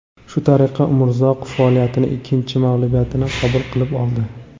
Shu tariqa Umrzoqov faoliyatini ikkinchi mag‘lubiyatini qabul qilib oldi.